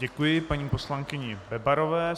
Děkuji paní poslankyni Bebarové.